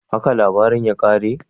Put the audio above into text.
Haka labarin ya kare?